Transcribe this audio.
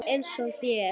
Eins og hér.